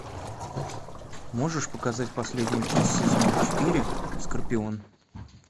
можешь показать последнюю часть сезона четыре скорпион